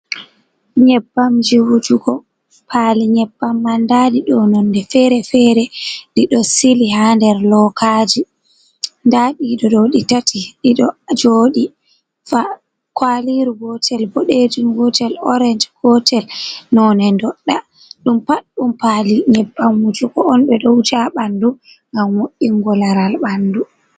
Nyebbamji wujugo pali nyebbam man ndaɗi ɗo nonde fere-fere ɗiɗo sili ha nder lookaji, nda ɗiɗo ɗo di tati ɗiɗo joɗi kwaliru gotel boɗejum, gotel oriange, gotel none ndoɗɗa ɗum pat ɗum pali nyebbam wujugo on ɓe ɗo wuja ha ɓandu ngam wo’ungo laral ɓandu.